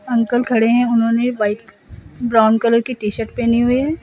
Uncle खड़े हैं उन्होंने व्हाइट ब्राउन कलर की टी शर्ट पेहनी हुई है।